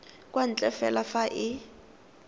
kwa ntle fela fa e